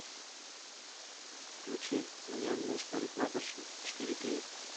включи мне муж парикмахерши четыре кей